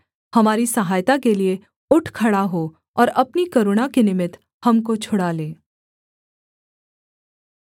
हमारी सहायता के लिये उठ खड़ा हो और अपनी करुणा के निमित्त हमको छुड़ा ले